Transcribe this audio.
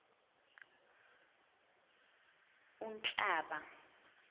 unhlaba